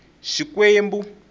xikwembu